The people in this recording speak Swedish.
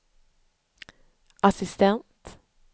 assistent